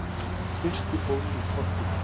Kirkjuból í Korpudal.